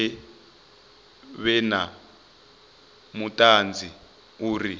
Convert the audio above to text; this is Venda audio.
vha vhe na vhuṱanzi uri